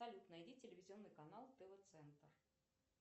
салют найди телевизионный канал тв центр